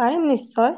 পাৰিম নিশ্চয়